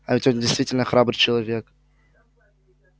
а ведь он действительно храбрый человек